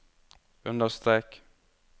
understrek